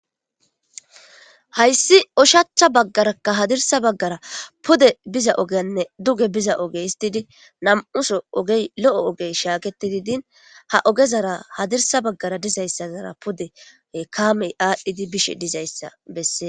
Hayssi u lnshachcha baggarakka hadirsa baggara pude biza ogenne duge biza oge histidi nam7uso ogey lo7o ogey shaaketidi din ha ogezara hadirsa baggara dizayssazara pudee kaamey aadhdhidi bishe dizayssa bessee